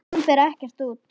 Hún fer ekkert út!